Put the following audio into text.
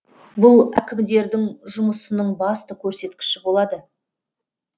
бұл әкімдердің жұмысының басты көрсеткіші болады